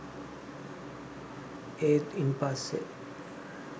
ඒත් ඉන්පස්සෙ